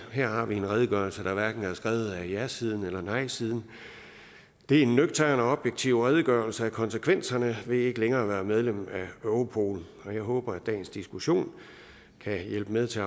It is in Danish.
her har vi en redegørelse der hverken er skrevet af jasiden eller nejsiden det er en nøgtern og objektiv redegørelse om konsekvenserne af ikke længere at være medlem af europol og jeg håber at dagens diskussion kan hjælpe med til